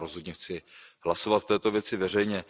Já rozhodně chci hlasovat v této věci veřejně.